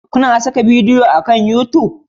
Kuna saka bidiyo akan YouTube?